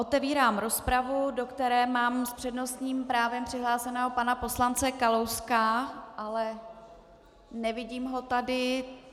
Otevírám rozpravu, do které mám s přednostním právem přihlášeného pana poslance Kalouska, ale nevidím ho tady.